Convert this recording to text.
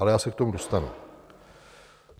Ale já se k tomu dostanu.